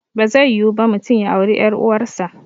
Bazai yiwu ba mutum ya auri ƴar uwar sa